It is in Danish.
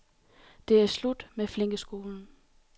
Det er slut med flinkeskolen.